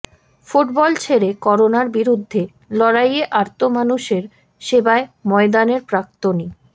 football ছেড়ে করোনার বিরুদ্ধে লড়াইয়ে আর্ত মানুষের সেবায় ময়দানের প্রাক্তনী